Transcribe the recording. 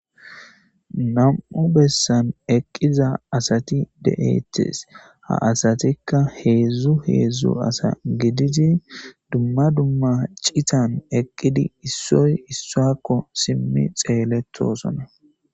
nam7u bessan eqqiza asati de7ettes ha asatikka heedzdzu heedzdzu asa gididi dumma dumma citan eqqidi issoy issoakko simmi xeeleto sona